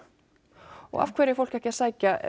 og af hverju er fólk ekki að sækja